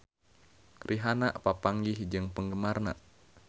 Rihanna papanggih jeung penggemarna